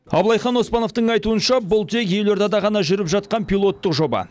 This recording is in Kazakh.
абылайхан оспановтың айтуынша бұл тек елордада ғана жүріп жатқан пилоттық жоба